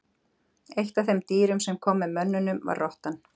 Eitt af þeim dýrum sem kom með mönnunum var rottan.